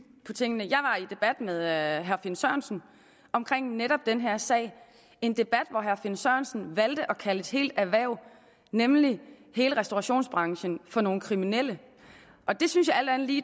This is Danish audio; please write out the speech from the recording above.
på tingene i debat med herre finn sørensen omkring netop den her sag en debat hvor herre finn sørensen valgte at kalde et helt erhverv nemlig hele restaurationsbranchen for nogle kriminelle det synes jeg alt andet lige